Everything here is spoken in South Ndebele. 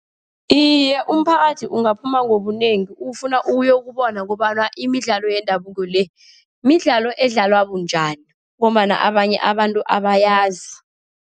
Iye, umphakathi ungaphuma ngobunengi, ufuna uyokubona kobana imidlalo yendabuko le, midlalo edlalwa bunjani. Ngombana abanye abantu abayazi.